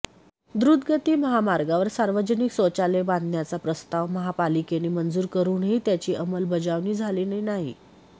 द्रूतगती महामार्गावर सार्वजनिक शौचालय बांधण्याचा प्रस्ताव महापालिकेने मंजूर करूनही त्याची अंमलबजावणी झालेली नाही